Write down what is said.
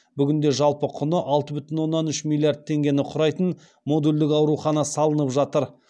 бүгінде жалпы құны алты бүтін оннан үш миллиард теңгені құрайтын модульдік аурухана салынып жатыр